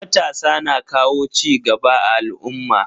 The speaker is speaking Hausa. Matasa na kawo cigaba a al'umma.